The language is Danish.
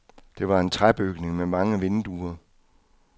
Det var en træbygning med mange vinduer.